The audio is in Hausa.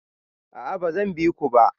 A'a ba zan bi ku ba.